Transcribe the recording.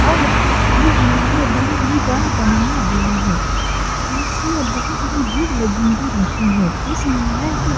और यह न्यायालय बहुत ही बड़ा बनाया गया है | इसमें बहुत ही भीड़ लगी हुई रहती है। इस न्यायालय को --